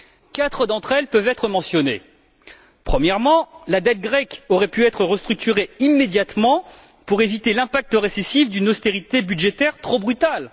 Quatre d'entre elles peuvent être mentionnées. Premièrement, la dette grecque aurait pu être restructurée immédiatement pour éviter l'impact récessif d'une austérité budgétaire trop brutale.